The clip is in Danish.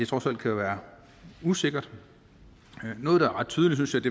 trods alt kan være usikkert noget der er ret tydeligt synes